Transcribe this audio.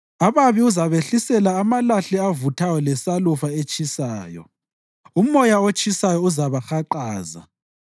Ababi uzabehlisela amalahle avuthayo lesalufa etshisayo; umoya otshisayo uzabahaqaza.